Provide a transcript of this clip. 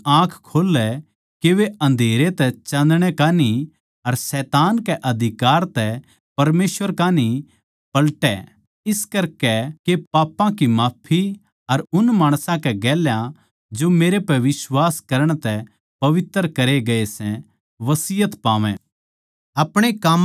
के तू उनकी आँख खोल्लै के वे अन्धेरै तै चाँदणै कै कान्ही अर शैतान कै अधिकार तै परमेसवर कै कान्ही पलटै इस करकै के पापां की माफी अर उन माणसां कै गेल्या जो मेरै पै बिश्वास करण तै पवित्र करे गये सै बसियत पावैं